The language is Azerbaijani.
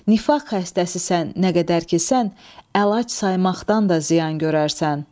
Nifaq xəstəsisən nə qədər ki sən, əlac saymaqdan da ziyan görərsən.